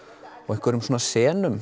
einhverjum